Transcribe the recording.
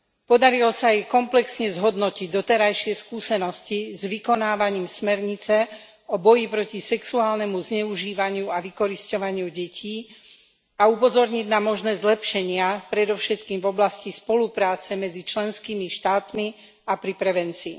Podarilo sa im komplexne zhodnotiť doterajšie skúsenosti s vykonávaním smernice o boji proti sexuálnemu zneužívaniu a vykorisťovaniu detí, a upozorniť na možné zlepšenia predovšetkým v oblasti spolupráce medzi členskými štátmi a pri prevencii.